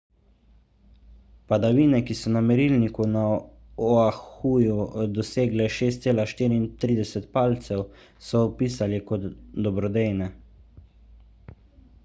padavine ki so na merilniku na oahuju dosegle 6,34 palcev so opisali kot dobrodejne